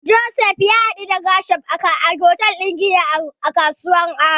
Joseph ya daɗu da Gershom a hotel din giya a kasuwar Aba.